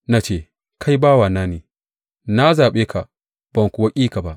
Na ce, Kai bawana ne’; na zaɓe ka ban kuwa ƙi ka ba.